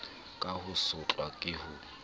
ka ho sotlwa ka ho